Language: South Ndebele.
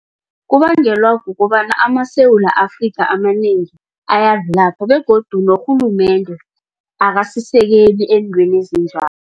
Kubangelwa kukobana amaSewula Afrika amanengi ayavilapha begodu norhulumende akasisekeli eentweni